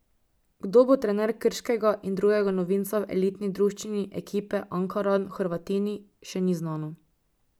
Kdo bo trener Krškega in drugega novinca v elitni druščini, ekipe Ankaran Hrvatini, še ni znano.